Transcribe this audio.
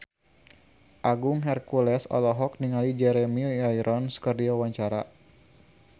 Agung Hercules olohok ningali Jeremy Irons keur diwawancara